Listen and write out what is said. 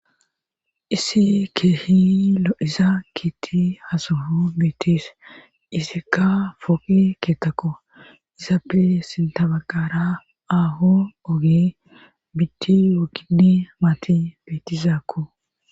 Issi keehi loiza kiitti hasuhu meetis izikka foi keetakko izappe sintabagara aaho oge bitti wogindi maati betizaakko